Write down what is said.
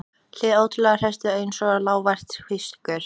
Hið ótrúlegasta heyrist einsog lágvært hvískur.